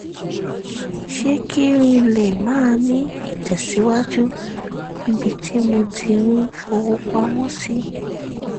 ṣe kí n lè máa ní ìtẹ̀síwájú níbi tí mo ti ń fowó pamọ́ sí